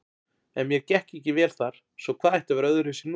En mér gekk ekki vel þar, svo hvað ætti að vera öðruvísi núna?